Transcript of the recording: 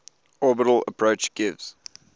orbital approach gives